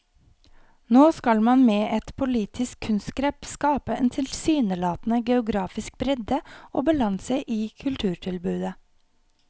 Nå skal man med et politisk kunstgrep skape en tilsynelatende geografisk bredde og balanse i kulturtilbudet.